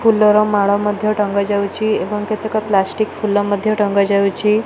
ଫୁଲର ମାଳ ମଧ୍ୟ ଟଙ୍ଗା ଯାଉଛି। ଏବଂ କେତେକ ପ୍ଲାଷ୍ଟିକ ଫୁଲ ମଧ୍ୟ ଟଙ୍ଗା ଯାଉଛି।